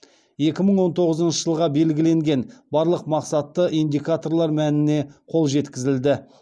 екі мың он тоғызыншы жылға белгіленген барлық мақсатты индикаторлар мәніне қол жеткізілді